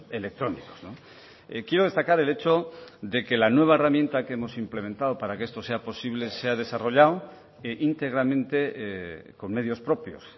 electrónicos quiero destacar el hecho de que la nueva herramienta que hemos implementado para que esto sea posible se ha desarrollado íntegramente con medios propios